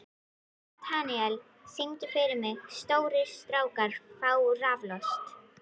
Natanael, syngdu fyrir mig „Stórir strákar fá raflost“.